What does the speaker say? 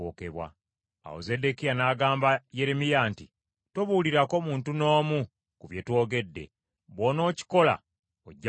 Awo Zeddekiya n’agamba Yeremiya nti, “Tobuulirako muntu n’omu ku bye twogedde, bw’onookikola ojja kufa.